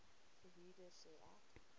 verhuurder sê ek